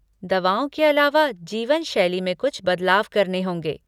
दवाओं के अलावा, जीवनशैली में कुछ बदलाव करने होंगे।